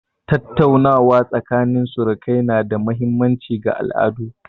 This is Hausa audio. Tattaunawa tsakanin surukai na da mahimmanci ga al'adu.